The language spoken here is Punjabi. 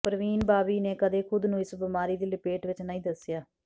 ਪਰਵੀਨ ਬਾਬੀ ਨੇ ਕਦੇ ਖ਼ੁਦ ਨੂੰ ਇਸ ਬਿਮਾਰੀ ਦੀ ਲਪੇਟ ਵਿੱਚ ਨਹੀਂ ਦੱਸਿਆ